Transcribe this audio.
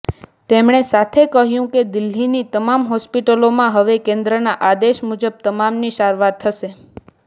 તેમણે સાથે કહ્યું કે દિલ્હીની તમામ હોસ્પિટલોમાં હવે કેન્દ્રના આદેશ મુજબ તમામની સારવાર થશે